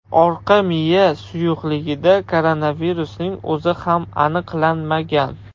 Orqa miya suyuqligida koronavirusning o‘zi ham aniqlanmagan.